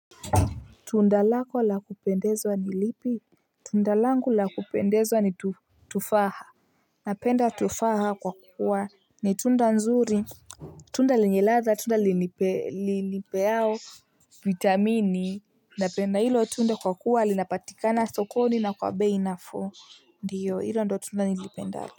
Tundalako la kupendezwa ni lipi? Tundalangu la kupendezwa ni tu tufaha. Napenda tufaha kwa kuwa ni tunda nzuri. Tunda lenye latha, tunda linilpe linipealo vitamini. Napenda hilo tunda kwa kuwa alinapatika na sokoni na kwabei nafuu. Ndiyo hilo ndo tunda nilipendalo.